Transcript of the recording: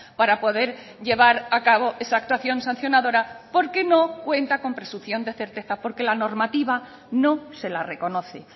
para poder llevar a cabo esa actuación sancionadora porque no cuenta con presunción de certeza porque la normativa no se la reconoce